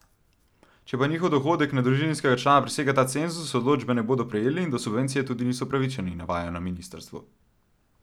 Če pa njihov dohodek na družinskega člana presega ta cenzus, odločbe ne bodo prejeli in do subvencije tudi niso upravičeni, navajajo na ministrstvu.